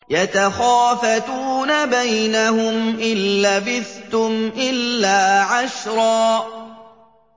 يَتَخَافَتُونَ بَيْنَهُمْ إِن لَّبِثْتُمْ إِلَّا عَشْرًا